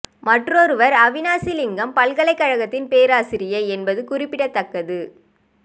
மற்றொருவர் அவினாசி லிங்கம் பல்கலை கழகத்தின் பேராசிரியை என்பது குறிப்பிடத்தக்கது